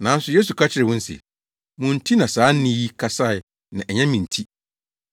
Nanso Yesu ka kyerɛɛ wɔn se, “Mo nti na saa nne yi kasae na ɛnyɛ me nti.